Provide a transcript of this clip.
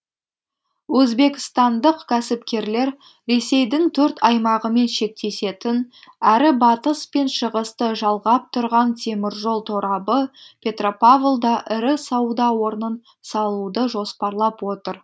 өзбекстандық кәсіпкерлер ресейдің төрт аймағымен шектесетін әрі батыс пен шығысты жалғап тұрған теміржол торабы петропавлда ірі сауда орнын салуды жоспарлап отыр